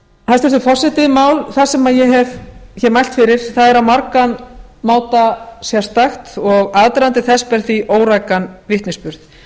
hæstvirtur forseti mál það sem ég hef hér mælt fyrir er á margan máta sérstakt og aðdragandi þess ber því órækan vitnisburð